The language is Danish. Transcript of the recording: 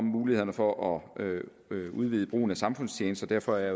mulighederne for at udvide brugen af samfundstjeneste derfor er